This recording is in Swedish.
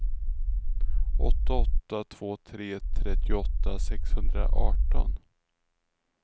åtta åtta två tre trettioåtta sexhundraarton